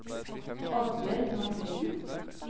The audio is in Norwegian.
Oddbjørg Mathiesen